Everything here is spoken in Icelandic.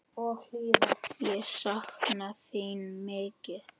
Ég sakna þín mikið.